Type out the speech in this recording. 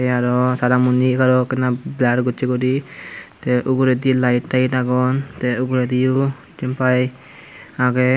aro tara muni egaraw ekkanw blur gossey guri tey ugredi light tight agon tey ugrediyo jempai agey.